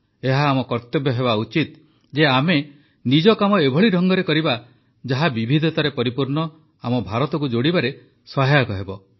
ଏହା ଆମ କର୍ତ୍ତବ୍ୟ ହେବା ଉଚିତ ଯେ ଆମେ ନିଜ କାମ ଏଭଳି ଢଙ୍ଗରେ କରିବା ଯାହା ବିବିଧତାରେ ପରିପୂର୍ଣ୍ଣ ଆମ ଭାରତକୁ ଯୋଡ଼ିବାରେ ସହାୟକ ହେବ